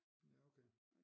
Ja okay